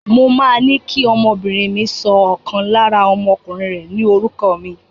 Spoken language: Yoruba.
Mo máa ní kí ọmọbìnrin mi sọ ọ̀kan lára ọmọkùnrin rẹ̀ ní orúkọ mi.